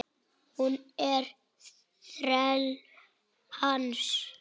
Hún er þræll hans.